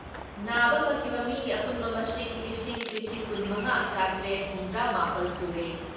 ꯅꯥꯕ ꯐꯈꯤꯕ ꯃꯤꯒꯤ ꯑꯄꯨꯟꯕ ꯃꯁꯤꯡ ꯂꯤꯁꯤꯡ ꯂꯤꯁꯤꯡ ꯀꯨꯟ ꯃꯉꯥ ꯆꯥꯇ꯭ꯔꯦꯠ ꯍꯨꯝꯗ꯭ꯔꯥ ꯃꯥꯄꯜ ꯁꯨꯔꯦ ꯫